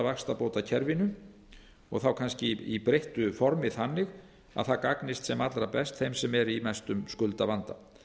vaxtabótakerfinu og þá kannski í breyttu formi þannig að það gagnist sem allra best þeim sem eru í mestum skuldavanda